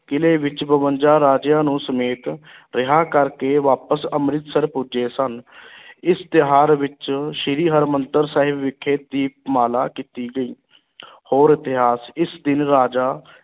ਕਿਲ੍ਹੇ ਵਿੱਚ ਬਵੰਜਾ ਰਾਜਿਆਂ ਨੂੰ ਸਮੇਤ ਰਿਹਾਅ ਕਰਕੇ ਵਾਪਸ ਅੰਮ੍ਰਿਤਸਰ ਪੁੱਜੇ ਸਨ ਇਸ ਤਿਉਹਾਰ ਵਿੱਚ ਸ੍ਰੀ ਹਰਿਮੰਦਰ ਸਾਹਿਬ ਵਿਖੇ ਦੀਪਮਾਲਾ ਕੀਤੀ ਗਈ ਹੋਰ ਇਤਿਹਾਸ, ਇਸ ਦਿਨ ਰਾਜਾ